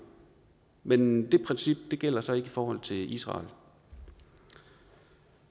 men det princip gælder så ikke i forhold til israel